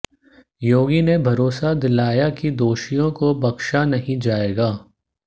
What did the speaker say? योगी ने भरोसा दिलाया कि दोषियों को बख्शा नहीं जाएगा